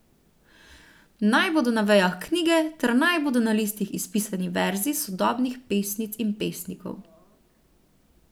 Naj bodo na vejah knjige ter naj bodo na listih izpisani verzi sodobnih pesnic in pesnikov.